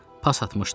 Pas atmışdı.